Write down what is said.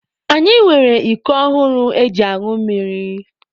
Anyị nwere iko ọhụrụ eji añụ mmiri.